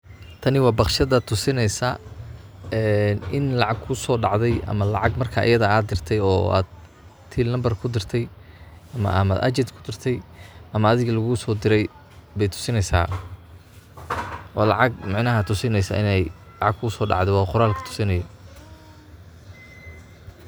Tani wa baqshada tusineyso een in lacag kusodacdey. ama lacag marka ayadha ad dirtey oo ad till nambar kudirtey. ama agent kudirtey, ama adhiga lagu sodire bay tusineysa. oo lacag micnaha tusineysa inay lacag kusodacde wa qoralka tusinaye.